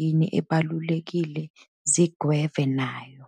yini ebalulekile zigweve nayo.